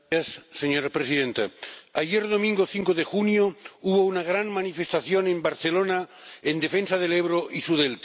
Señora Presidenta, ayer domingo 5 de junio hubo una gran manifestación en Barcelona en defensa del Ebro y su delta.